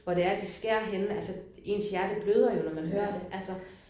Hvor det er de skærer henne altså ens hjerte bløder jo når man hører det altså